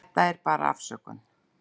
Þetta er bara afsökun.